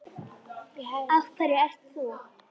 Af hverju ert þú.